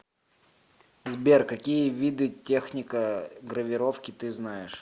сбер какие виды техника гравировки ты знаешь